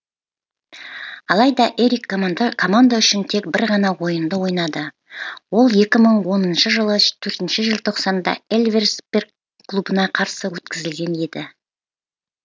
алайда эрик команда үшін тек бір ғана ойынды ойнады ол екі мың оныншы жылы төртінші желтоқсанда эльверсберг клубына қарсы өткізілген еді